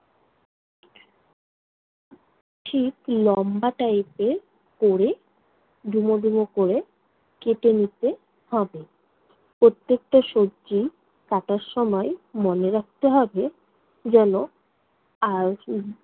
ঠিক লম্বা type এর কোরে, ডুমো ডুমো কোরে, কেটে নিতে হবে। প্রত্যেকটা সবজি কাটার সময় মনে রাখতে হবে যেনো